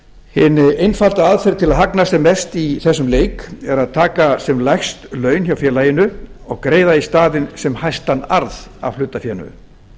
hin einfalda aðferð til að hagnast sem mest í þessum leik er að taka sem lægst laun hjá félaginu og greiða í staðinn sem hæstan arð af hlutafénu